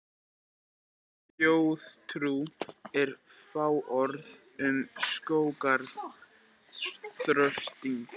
Íslensk þjóðtrú er fáorð um skógarþröstinn.